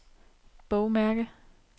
bogmærke